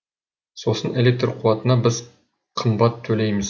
сосын электр қуатына біз қымбат төлейміз